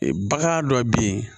Bagan dɔ bɛ yen